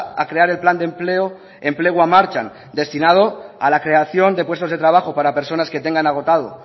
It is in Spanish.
a crear el plan de empleo enplegua martxan destinado a la creación de puestos de trabajo para personas que tengan agotado